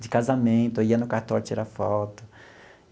De casamento, eu ia no cartório tirar foto.